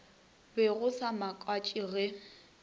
be go sa makatše ge